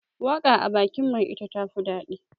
waka a bakin mai ita tafi dadi